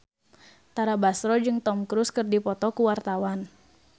Tara Basro jeung Tom Cruise keur dipoto ku wartawan